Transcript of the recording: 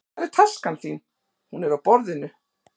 Hvar er taskan þín? Hún er á borðinu.